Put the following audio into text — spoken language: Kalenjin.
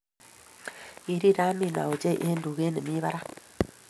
Kirir Amina ochei eng tugee ne mii barak.